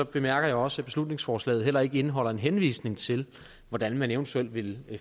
bemærker jeg også at beslutningsforslaget heller ikke indeholder en henvisning til hvordan man eventuelt vil